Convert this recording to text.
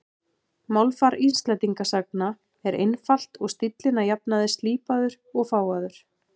Málfar Íslendingasagna er einfalt og stíllinn að jafnaði slípaður og fágaður.